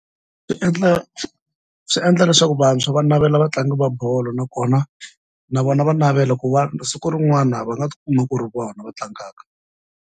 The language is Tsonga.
Swi endla swi endla leswaku vantshwa va navela vatlangi va bolo nakona na vona va navela ku va siku rin'wana va nga kuma ku ri vona va tlangaka.